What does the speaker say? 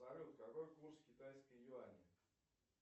салют какой курс китайской юани